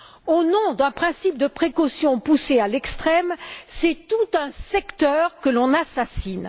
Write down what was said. Au nom d'un principe de précaution poussé à l'extrême, c'est tout un secteur que l'on assassine.